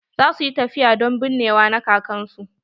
Za su yi tafiya don binnewa na kakan su.